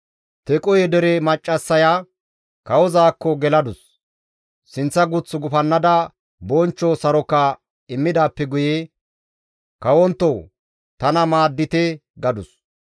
Tequhe dere maccassaya kawozaakko geladus; sinththa guth gufannada bonchcho saroka immidaappe guye, «Kawonttoo tana maaddite!» gadus.